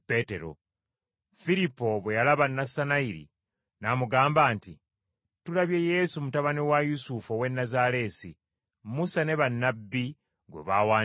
Firipo bwe yalaba Nassanayiri, n’amugamba nti, “Tulabye Yesu mutabani wa Yusufu ow’e Nazaaleesi, Musa ne bannabbi gwe baawandiikako.”